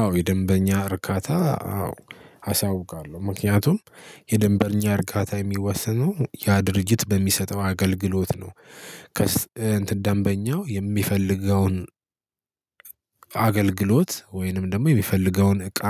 አዎ የደንበኛ እርካታ አዎ አሳውቃለሁ ምክንያቱም የደንበኛ እርካታ የሚወስነው ያ ድርጅት በሚሰጠው አገልግሎት ነው። ደንበኛው የሚፈልገውን አገልግሎት ወይንም ደግሞ የሚፈልገውን እቃ